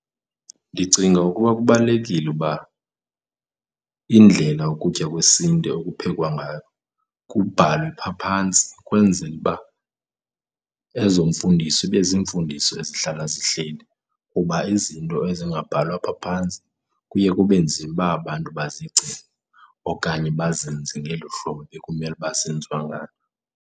Ndicinga ukuba kubalulekile uba indlela ukutya kwesiNtu ekuphekwa ngayo kubhalwe phaa phantsi kwenzele uba ezomfundiso ibe zimfundiso ezihlala zihleli kuba izinto ezingabhalwa phaa phantsi kuye kube nzima uba abantu bazigcine okanye bazenze ngelu hlobo bekumele uba zenziwa ngalo.